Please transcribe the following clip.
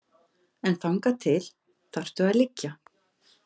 En þangað til þarftu að liggja.